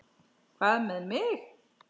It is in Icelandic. Hvað með mig?